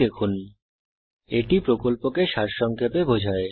এটি কথ্য টিউটোরিয়াল প্রকল্পকে সারসংক্ষেপে বোঝায়